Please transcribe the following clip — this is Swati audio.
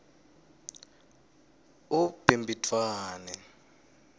ubhimbidvwane